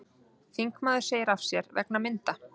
Þingmaður segir af sér vegna mynda